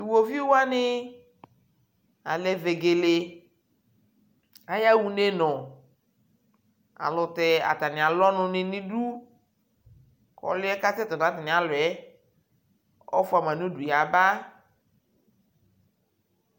Tʋ uwoviʋ wani alɛ vegele Aya unenʋ ayʋɛlutɛ atani alʋ ɔnʋ ni nʋ udu kʋ ɔlʋɛ kʋ ɔtata ni yaɛ, ɔfuama nʋ udu yaba